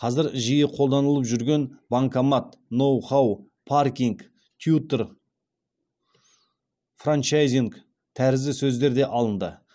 қазір жиі қолданылып жүрген банкомат ноу хау паркинг тьютор франчайзинг тәрізді сөздер де алынды